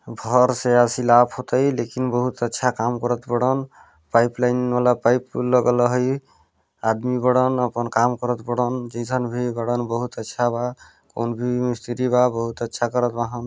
bore से ऐसी लाभ हो तई लेकिन बहुत अच्छा काम करत बड़न पाइप लाइन वाला पाइप लगल हई आदमी बड़न अपन काम करत बड़न जेसन भी बड़न बहुत अच्छा बा कॉन्फी मिस्त्री बा बहुत अच्छा करन बहन--